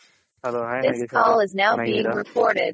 Hello Hi Nagesh ಅವರೇ ಚೆನ್ನಾಗಿದ್ದೀರ.